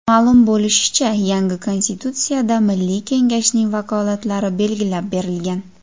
Ma’lum bo‘lishicha, yangi Konstitutsiyada Milliy Kengashning vakolatlari belgilab berilgan.